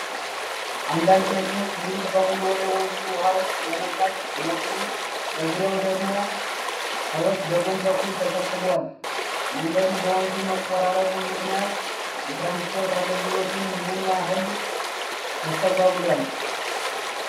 አንዳንድ መኪኖች ሙሉ በሙሉ ወደ ወንዙ ውሃ ውስጥ ለመግባት ሲሞክሩ፣ በዙሪያው ደግሞ ሰዎች በጎን በኩል ተሰብስበዋል። መንገዱ በወንዙ መቆራረጡ ምክንያት የትራንስፖርት አገልግሎቱ ምን ያህል ተስተጓጉሏል?